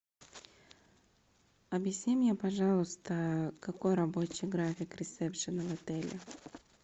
объясни мне пожалуйста какой рабочий график ресепшена в отеле